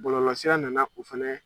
Bɔlɔlɔsira nana o fana